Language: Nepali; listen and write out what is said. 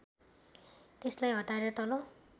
त्यसलाई हटाएर तल